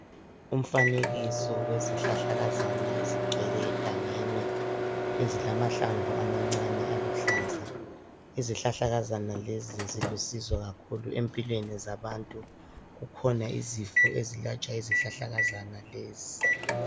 Umfanekiso wezihlahlakazana ezigcwele egangeni ezilamahlamvu amancane aluhlaza izihlahlakazana lezi zilusizo kakhulu empilweni zabantu kukhona izifo ezilatshwa yizihlahlakazana lezi.